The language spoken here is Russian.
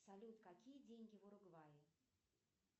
салют какие деньги в уругвае